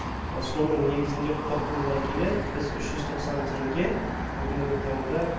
соның негізінде қорытындылай келе біз үш жүз тоқсан теңге бүгінгі таңда